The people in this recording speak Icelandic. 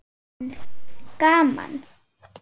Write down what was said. Hann: Gaman.